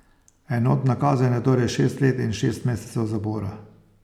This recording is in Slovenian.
Enotna kazen je torej šest let in šest mesecev zapora.